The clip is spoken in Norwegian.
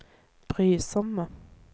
brysomme